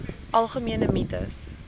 algemene mites